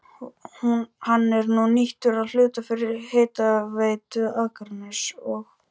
Hann er nú nýttur að hluta fyrir Hitaveitu Akraness og